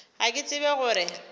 ga ke tsebe go re